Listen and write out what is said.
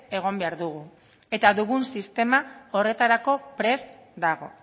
egon behar dugu eta dugun sistema horretarako prest dago